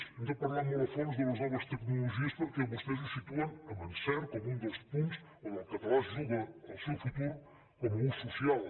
hem de parlar molt a fons de les no ves tecnologies perquè vostès ho situen amb encert com un dels punts on el català es juga el seu futur com a ús social